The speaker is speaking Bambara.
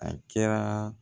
A kɛra